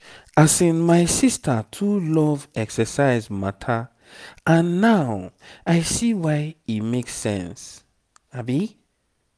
asin my sister too love exercise matter and now i see why e make sense.